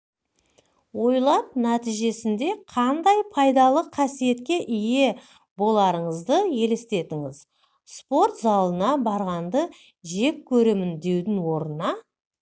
ойлап нәтижесеінде қандай пайдалы қасиетке ие боларыңызды елестетіңіз спорт залына барғанды жек көремін деудің орнына